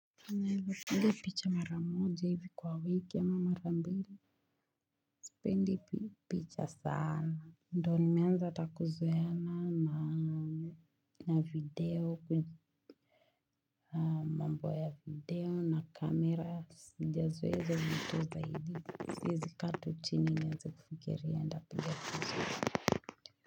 Ninaeza piga picha mara moja hivi kwa wiki ama mara mbili. Sipendi picha sana. Ndio nimeanza kuzoeana na video, mambo ya video na camera. Sijazoea izo vitu zaidi. Siezi kaa tu chini nianze kufikiria ntapigia kutu.